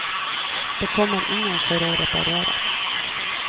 Det kommer ingen for å reparere.